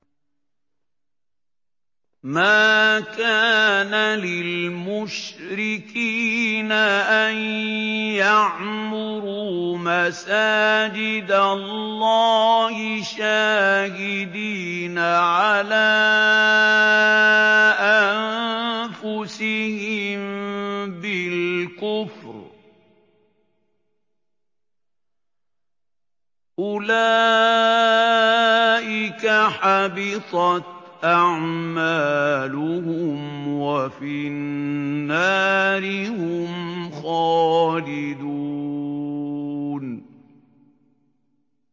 مَا كَانَ لِلْمُشْرِكِينَ أَن يَعْمُرُوا مَسَاجِدَ اللَّهِ شَاهِدِينَ عَلَىٰ أَنفُسِهِم بِالْكُفْرِ ۚ أُولَٰئِكَ حَبِطَتْ أَعْمَالُهُمْ وَفِي النَّارِ هُمْ خَالِدُونَ